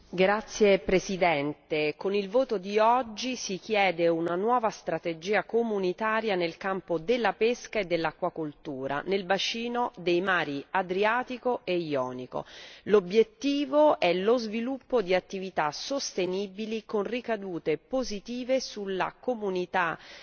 Signor Presidente, attraverso l'odierna votazione si chiede una nuova strategia comunitaria nel campo della pesca e dell'acquacoltura nel bacino del mar Adriatico e del mar Ionio. L'obiettivo è lo sviluppo di attività sostenibili con ricadute positive sulla comunità